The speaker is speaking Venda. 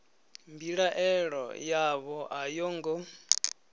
mbilaelo yavho a yo ngo